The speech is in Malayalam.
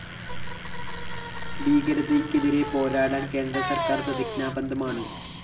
ഭീകരതയ്ക്കെതിരെ പോരാടാന്‍ കേന്ദ്രസര്‍ക്കാര്‍ പ്രതിജ്ഞാബദ്ധമാണ്